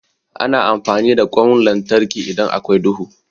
Ana amfani da ƙwan lantarki idan akwai duhu.